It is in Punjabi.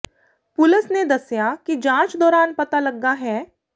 ਪੁਲਸ ਨੇ ਦੱਸਿਆ ਕਿ ਜਾਂਚ ਦੌਰਾਨ ਪਤਾ ਲੱਗਾ ਹੈ